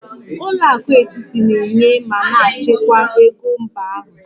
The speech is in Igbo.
Ụlọ akụ etiti na-enye ma na-achịkwa ego mba ahụ